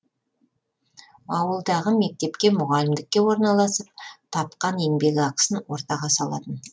ауылдағы мектепке мұғалімдікке орналасып тапқан еңбекақысын ортаға салатын